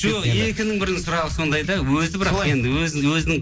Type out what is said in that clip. жоқ екінің бірінің сұрағы сондай да өзі бірақ енді өзінің